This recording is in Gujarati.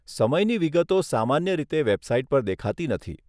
સમયની વિગતો સામાન્ય રીતે વેબસાઇટ પર દેખાતી નથી.